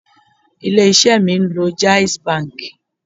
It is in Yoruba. Ilé isẹ́ mi ń lo jaiz banki